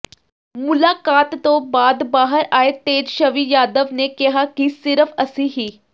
ਮੁਲਾਕਾਤ ਤੋਂ ਬਾਅਦ ਬਾਹਰ ਆਏ ਤੇਜਸ਼ਵੀ ਯਾਦਵ ਨੇ ਕਿਹਾ ਕਿ ਸਿਰਫ ਅਸੀਂ ਹੀ